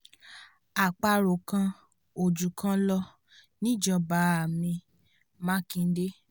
apárò kan ò jùkan lọ níjọba a mi- makinde